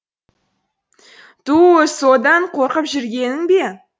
түу содан қорқып жүргенің бе